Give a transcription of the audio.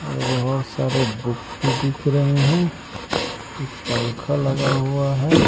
और बहोत सारे बुक भी दिख रहे हैं एक पंख लगा हुआ है।